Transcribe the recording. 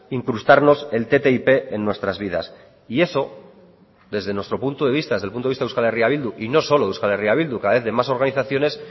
incrustarnos el ttip en nuestras vidas y eso desde nuestro punto de vista desde el punto de vista de eh bildu y no solo de eh bildu cada vez de más organizaciones